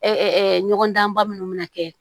ɲɔgɔn danba minnu bɛ na kɛ